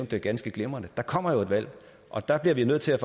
det ganske glimrende der kommer jo et valg og der bliver vi nødt til